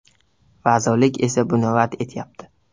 Vazirlik esa buni rad etyapti.